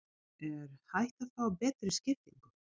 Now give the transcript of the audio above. Er hægt að fá betri skiptingu?